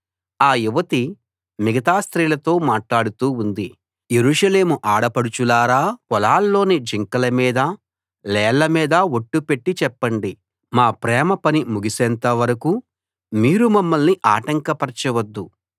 ఆ యువతి మిగతా స్త్రీలతో మాట్లాడుతూ ఉంది యెరూషలేము ఆడపడుచులారా పొలాల్లోని జింకల మీద లేళ్ల మీద ఒట్టు పెట్టి చెప్పండి మా ప్రేమ పని ముగిసేంత వరకూ మీరు మమ్మల్ని ఆటంకపరచ వద్దు